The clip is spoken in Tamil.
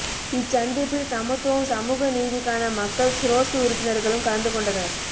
இச் சந்திப்பில் சமத்துவம் சமூக நீதிக்கான மக்கள் சிரோஸ்ட உறுப்பினர்களும் கலந்துகொண்டனர்